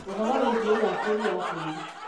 ũhoro wĩgie ũgacĩru wa tĩĩri